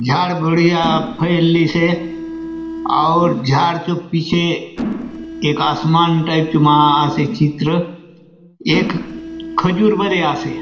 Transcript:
झाड़ बढ़िया फैललीसे अऊर झाड़ चो पीछे एक आसमान टाइप चो मा ह आसे चित्र एक खुजूर बले आसे।